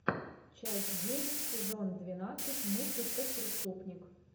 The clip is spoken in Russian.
часть девять сезон двенадцать мыслить как преступник